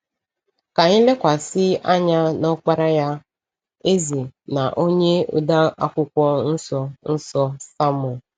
Ka anyị lekwasị anya n’ọkpara ya — eze na onye ode Akwụkwọ Nsọ Nsọ — Sọlọmọn.